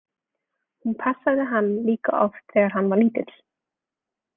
Hún passaði hann líka oft þegar hann var lítill.